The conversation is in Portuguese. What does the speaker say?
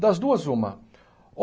Das duas, uma.